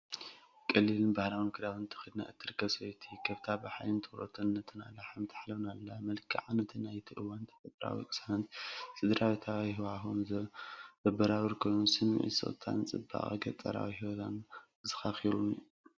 ቀሊልን ባህላዊን ክዳውንቲ ተኸዲና እትርከብ ሰበይቲ፡ ከብታ ብሓይልን ትኹረትን ነተን ኣላሕም ትሓልበን ኣላ። መልክዓ ነቲ ናይቲ እዋን ተፈጥሮኣዊ ቅሳነትን ስድራቤታዊ ሃዋህውን ዘበራብር ኮይኑ፡ ስምዒት ስቕታን ጽባቐን ገጠራዊ ህይወት ኣዘኻኺሩኒ።